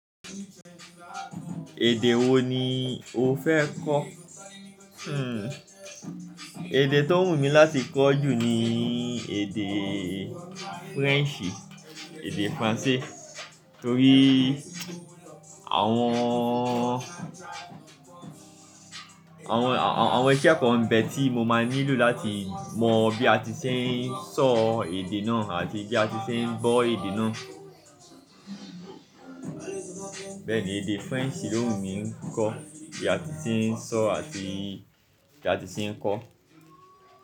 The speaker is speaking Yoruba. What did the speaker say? Èdè wo ni o fẹ́ kọ́? Èdè tó wù mí láti kọ́ jù ni èdè French, èdè French. Nítorí àwọn, àwọn, àwọn iṣẹ́ àkọ́rọ́nbẹ̀ tí mo máa nílò láti mọ bí a ti ṣe ń sọ èdè náà àti bí a ti ṣe ń gbọ èdè náà. Bẹ́ẹ̀ ni èdè French ló wù mí kọ, bí a ti ṣe ń sọ àti bí a ti ṣe ń kọ.